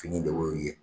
Fini de y'o ye